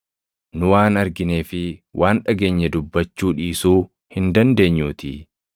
Nu waan arginee fi waan dhageenye dubbachuu dhiisuu hin dandeenyuutii.”